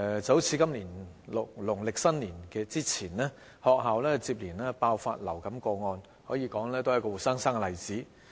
好像今年農曆新年前，學校接連爆發流感個案，可說是活生生的例子。